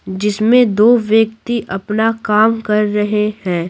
जिसमें दो व्यक्ति अपना काम कर रहे हैं।